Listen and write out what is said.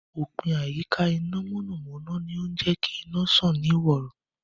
Òpìn ìyíká iná mọ̀nàmọ̀nà ni ó ń jẹ́kí iná sàn ní ìrọ̀wọ́